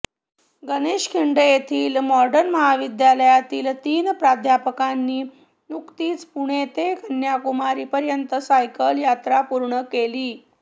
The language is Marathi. गणेशखिंड येथील मॉडर्न महाविद्यालयातील तीन प्राध्यापकांनी नुकतीच पुणे ते कन्याकुमारीपर्यंत सायकल यात्रा पूर्ण केली